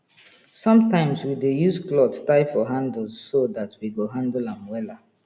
sometimeswe dey use cloth tie for handles so dat we go hanle am wela